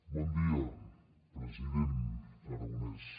bon dia president aragonès